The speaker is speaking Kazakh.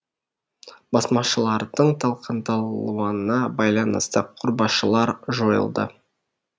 басмашылардың талқандалуына байланысты құрбашылар жойылды